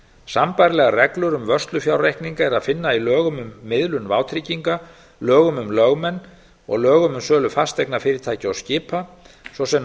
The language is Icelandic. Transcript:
sambærilegar reglur um vörslufjárreikninga er að finna um miðlun vátrygginga lögum um lögmenn og lögum um sölu fasteignafyrirtækja og skipa svo sem nánar